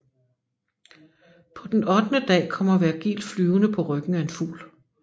På den ottende dag kommer Vergil flyvende på ryggen af en fugl